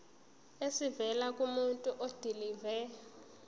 esivela kumuntu odilive